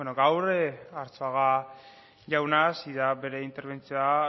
gaur arzuaga jauna hasi da bere interbentzioa